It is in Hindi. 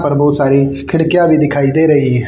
और बहुत सारी खिड़कियां भी दिखाई दे रही--